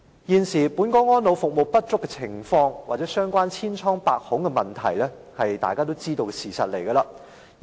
現時本港安老服務不足及千瘡百孔，是大家也知道的事實。